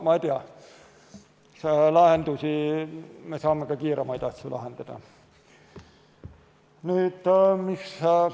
On lahendusi, me saame asju lahendada.